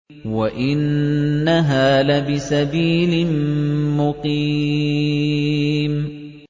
وَإِنَّهَا لَبِسَبِيلٍ مُّقِيمٍ